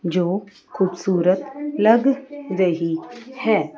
जो खूबसूरत लग रही हैं।